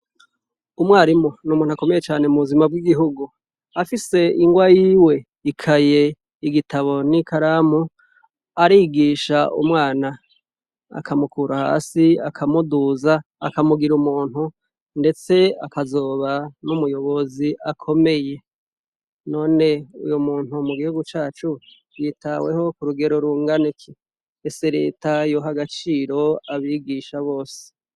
Umwarimu ni umuntu akomeye cane, mu buzima bw'igihugu. Afise ingwa yiwe, ikaye, igitabo, n'ikaramu arigisha umwana akamukura hasi akamuduza akamugira umuntu; ndetse akazoba n'umuyobozi akomeye. None uyo muntu mu gihugu cacu yitaweho ku rugero rungana iki ? Ese leta yoha agaciro abigisha bose.